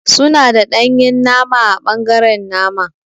Suna da danye nama ã bangaren nama.